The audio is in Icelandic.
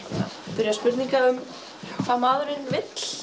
spyrja spurninga um hvað maðurinn vill